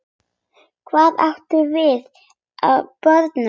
Hvað átt þú af börnum?